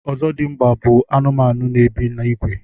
ọzọdịmgba bụ anụmanụ n'ebi n'ìgwè